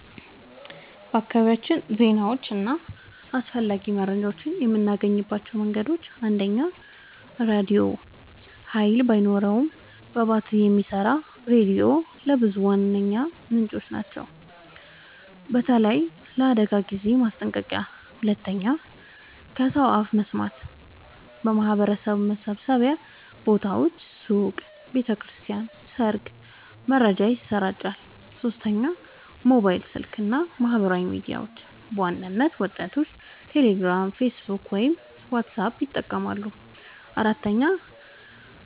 በአካባቢያችን ዜናዎችን እና አስፈላጊ መረጃዎችን የምናገኝባቸው መንገዶች፦ 1. ራድዮ – ኃይል ባይኖርም በባትሪ የሚሰራ ሬዲዮ ለብዙዎች ዋነኛ ምንጭ ነው፣ በተለይ ለአደጋ ጊዜ ማስጠንቀቂያ። 2. ከሰው አፍ መስማት – በማህበረሰብ መሰብሰቢያ ቦታዎች (ሱቅ፣ ቤተ ክርስቲያን፣ ሰርግ) መረጃ ይሰራጫል። 3. ሞባይል ስልክ እና ማህበራዊ ሚዲያ – በዋናነት ወጣቶች ቴሌግራም፣ ፌስቡክ ወይም ዋትስአፕ ይጠቀማሉ። 4.